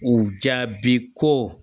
U jaabi ko